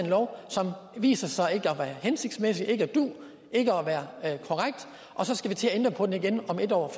lov som viser sig ikke at være hensigtsmæssig ikke at du ikke at være korrekt og så skal vi til at ændre på den igen om et år